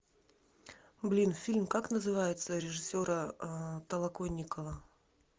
блин фильм как называется режиссера толоконникова